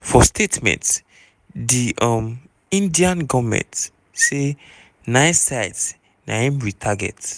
for statement di um indian goment say "nine sites na im we target".